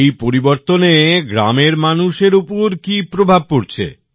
এই পরিবর্তনে গ্রামের মানুষের উপর কি প্রভাব পরেছে